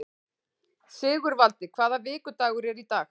Sigurvaldi, hvaða vikudagur er í dag?